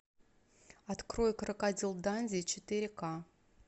открой крокодил данди четыре ка